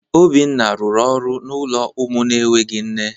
Obinna rụrụ ọrụ n’ụlọ ụmụ na-enweghị nne.